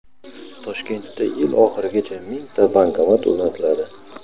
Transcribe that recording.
Toshkentda yil oxirigacha mingta bankomat o‘rnatiladi.